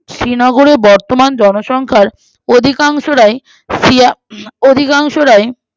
শ্রীনগরে বর্তমান জনসংখ্যার অধিকাংশরাই সিয়া